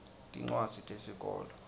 tincwadzi tesikolwa